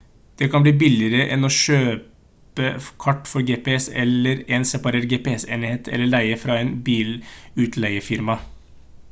det kan bli billigere enn å kjøpe kart for gps eller en separat gps-enhet eller leie en fra et bilutleiefirma